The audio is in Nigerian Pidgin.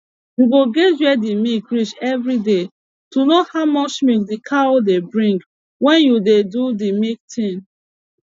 u go guage were d milk reach every day to know how much milk d cow dey bring wen u dey do de milk tin